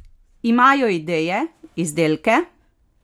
Imajo ideje, izdelke?